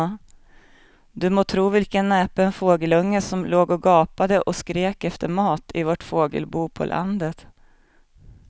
Du må tro vilken näpen fågelunge som låg och gapade och pep efter mat i vårt fågelbo på landet.